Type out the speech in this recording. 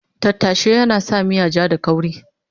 Tattashe yana sa miya ja da kauri